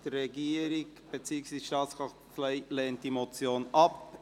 Die Regierung beziehungsweise die Staatskanzlei lehnt diese Motion ab.